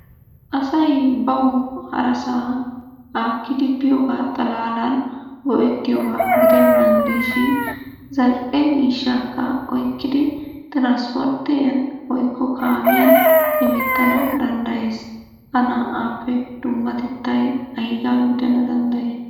Asay bawu harasaa haakkidi biyoogaa xalaalan go'etttiyooba giddenan diishin zal'e miishshakka oykkidi tiranspporttiyan woykko kaammiyan hemetana danddayees. Ha naa'aappe dummatettay aygaa gidana danddayii?